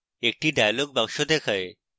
একটি dialog box দেখায়